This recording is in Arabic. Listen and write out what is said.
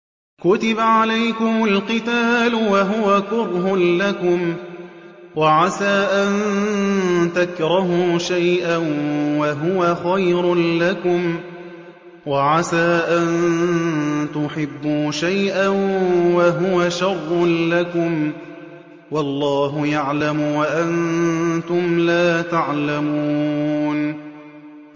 كُتِبَ عَلَيْكُمُ الْقِتَالُ وَهُوَ كُرْهٌ لَّكُمْ ۖ وَعَسَىٰ أَن تَكْرَهُوا شَيْئًا وَهُوَ خَيْرٌ لَّكُمْ ۖ وَعَسَىٰ أَن تُحِبُّوا شَيْئًا وَهُوَ شَرٌّ لَّكُمْ ۗ وَاللَّهُ يَعْلَمُ وَأَنتُمْ لَا تَعْلَمُونَ